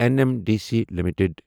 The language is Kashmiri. N M D C limited